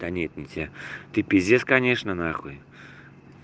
да нет не тебе ты пиздец конечно нахуй